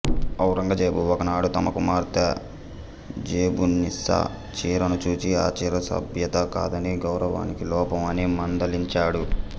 ఔరంగజేబు ఒకనాడు తన కుమార్తె జెబున్నీసా చీరను చూసి ఆ చీర సభ్యత కాదని గౌరవానికి లోపం అని మందలించాడు